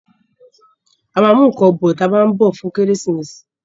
A ma mú nǹkan bọ̀ tí a bá ń bọ̀ fún Kérésìmesì